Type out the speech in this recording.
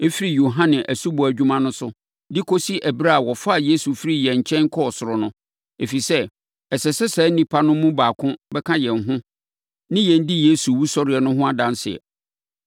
firi Yohane asubɔ adwuma no so de kɔsi ɛberɛ a wɔfaa Yesu firii yɛn nkyɛn kɔɔ ɔsoro no, ɛfiri sɛ, ɛsɛ sɛ saa nnipa no mu baako bɛka yɛn ho ne yɛn di Yesu wusɔreɛ no ho adanseɛ.”